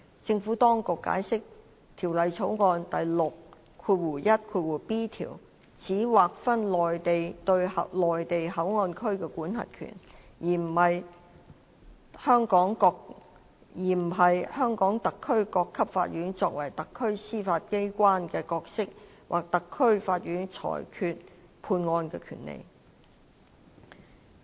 政府當局解釋，《條例草案》第 61b 條只劃分內地對內地口岸區的管轄權，而不是香港特區各級法院作為特區司法機關的角色或特區法院裁決判案的權力。